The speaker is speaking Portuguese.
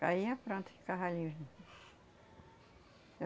Caía, pronto, ficava.